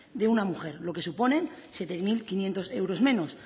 de una mujer lo que supone siete mil quinientos euros menos